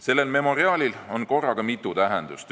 Sellel memoriaalil on korraga mitu tähendust.